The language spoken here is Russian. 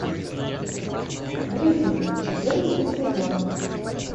гриффины четырнадцатый сезон